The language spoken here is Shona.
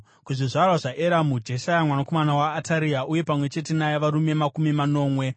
kuzvizvarwa zvaEramu, Jeshaya mwanakomana waAtaria uye pamwe chete naye varume makumi manomwe;